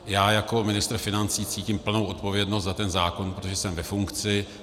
Já jako ministr financí cítím plnou odpovědnost za ten zákon, protože jsem ve funkci.